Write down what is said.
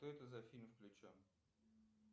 что это за фильм включен